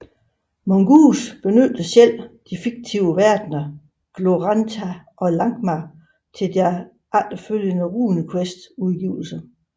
Mongoose benyttede selv de fiktive verdner Glorantha og Lankhmar til deres efterfølgende RuneQuest udgivelser